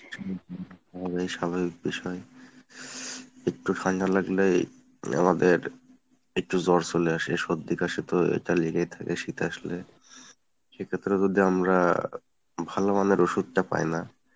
হবেই স্বাভাবিক বিষয় , একটু ঠান্ডা লাগলেই আমাদের একটু জ্বর চলে আসে সর্দি কাশি তো এতা লেগেই থাকে শীত আসলে সেক্ষেত্রে যদি আমরা ভালোমানের ওষুধ টা পাইনা।